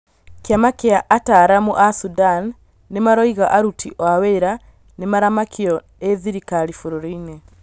Kĩama kĩa ataaramu a Sudan nĩmaroiga arũti aoawĩra nĩmaramakio ĩ thirikari bũrũri-inĩ